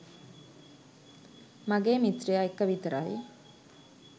මගේ මිත්‍රය එක්ක විතරයි.